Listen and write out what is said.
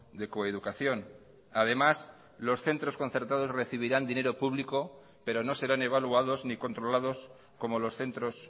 de coeducación además los centros concertados recibirán dinero público pero no serán evaluados ni controlados como los centros